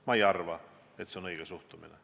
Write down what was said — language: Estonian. Ma ei arva, et see on õige suhtumine.